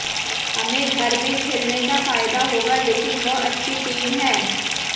हमें घर में खेलने का फायदा होगा लेकिन वह अच्छी टीम है